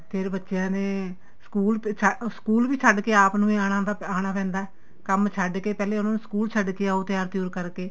ਫੇਰ ਬੱਚਿਆਂ ਨੇ ਸਕੂਲ ਵੀ ਛੱਡ ਕੇ ਆਪ ਨੂੰ ਹੀ ਆਣਾ ਪੈਂਦਾ ਕੰਮ ਛੱਡ ਕੇ ਪਹਿਲੇ ਉਹਨਾ ਨੂੰ school ਛੱਡ ਕੇ ਆਉ ਤਿਆਰ ਤਿਉਰ ਕਰਕੇ